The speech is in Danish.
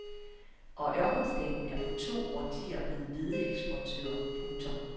Og ørkenstaten er på to årtier blevet hvedeeksportør. punktum